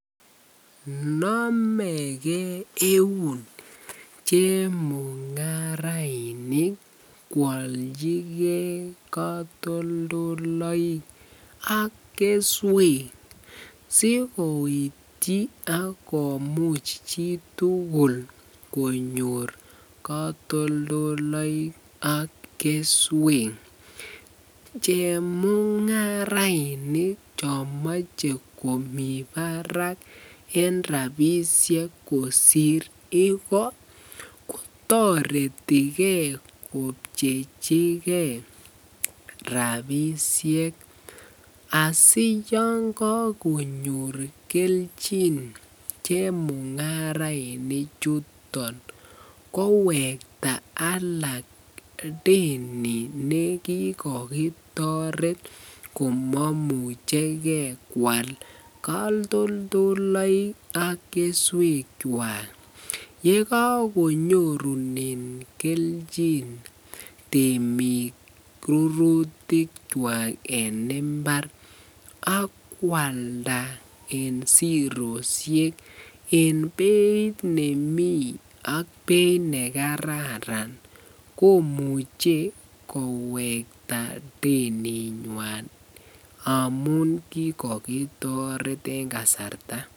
Nomeke euun chemungaraik kwolchike kotoldoloik ak keswek sikoityi ak komuch chitukul konyor katoldoloik ak keswek, chemungarainik chomoche komii barak en rabishek kosir igoo ko toretike kopchechike rabishek asiyon kokonyor kelchin chemungaraini chuton kowekta alak deni nekikokitoret komomucheke kwaal katoldoloik ak keswekwak, yekakonyorunen kelchin temik rurutikwak en imbar ak kwalda en siroshek en beit nemii ak beit nekararan komuche kowekta deninywan amun kikokitoret en kasarta.